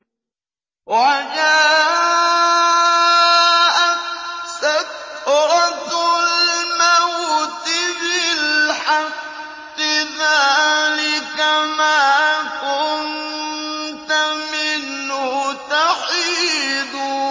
وَجَاءَتْ سَكْرَةُ الْمَوْتِ بِالْحَقِّ ۖ ذَٰلِكَ مَا كُنتَ مِنْهُ تَحِيدُ